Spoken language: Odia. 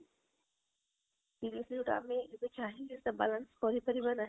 seriously ଏଟା ଆମେ ଚାହିଁଲେ ଏବେ balance କରି ପାରିବ ନାହିଁ